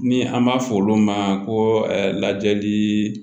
Ni an b'a fɔ olu ma ko lajɛli